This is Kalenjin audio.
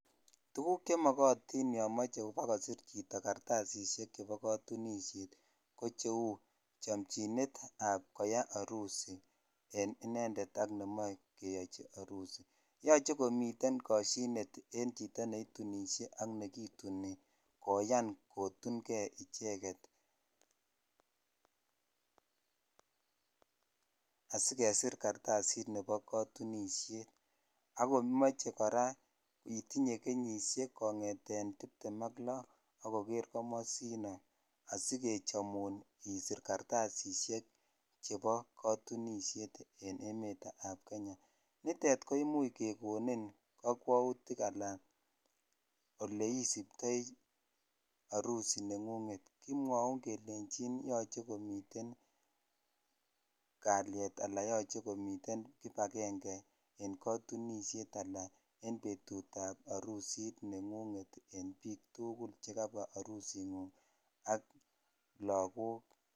Tuguuk che makatin ya mache pa kosir chito kartasishek chepo katunisie kp che u chamchinet ap koyai arusit eng' inedet ak ne mache koyai arusit. Yache komiten kashinet eng' chito ne itunishe ak ne kituni koyan kotun gei icheget asikesir kartadit nepo katunisiet. Ako mache kora itinye kenyishiek kong'eten tiptem ak lo ak koker komasin o ,asikechamun isir kartasishek chepo katunisiet en emet ap Kenya. Nitet ko imuch kekonin kakwautik ana ole isuptai arusi neng'ung'et. Kimwaun kelenchin yache komiten kaliet anan yache komiten kipagenge eng' katunishet ala eng' petut ap arusit neng'ung'et eng' piik tugul che kapwa arusing'ung' ak lagook.